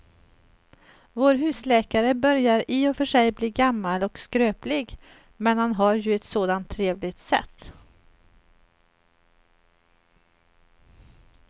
Vår husläkare börjar i och för sig bli gammal och skröplig, men han har ju ett sådant trevligt sätt!